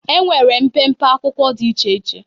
enwere mpempe akwụkwọ dị iche iche.